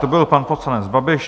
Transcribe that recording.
To byl pan poslanec Babiš.